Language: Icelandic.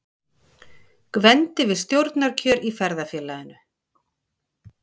Gvendi við stjórnarkjör í Ferðafélaginu.